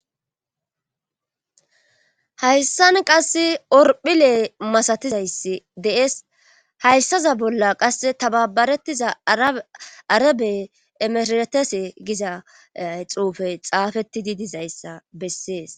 Hayssan qasse orphilee masatizayssi dees hayssaza bolla qasse tababarettiza arabey emesetese gizay xuufe xaafeti di dizayssa bessees.